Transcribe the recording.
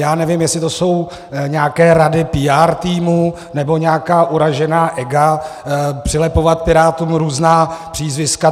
Já nevím, jestli to jsou nějaké rady PR týmu nebo nějaká uražená ega - přilepovat Pirátům různá přízviska.